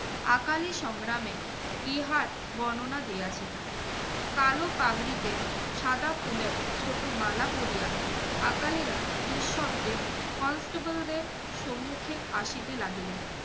আকালি সংগ্রামে, ইহার বর্ণনা দিয়াছেন। কালো পাগড়িতে সাদা ফুলের ছোট মালা পড়িয়া আকালিরা নিঃশব্দে constable দের সম্মুক্ষে আসিতে লাগিলেন।